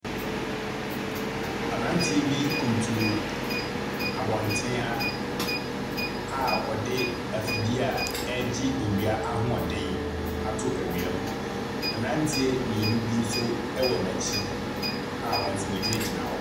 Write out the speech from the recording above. Abranteɛ bi kunturu abɔnten ha a ɔde ɛfidie a ɛregye ɛwia ahoɔden ato ɛwia mu. Mmranteɛ mmienu bi nso ɛwɔ n'akyi a wɔn nso egyina gyina hɔ.